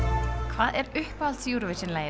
hvað er uppáhalds